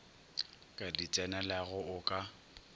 ka di tsenelago o ka